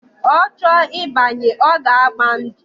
Ocho ibanye, oga agba ndu.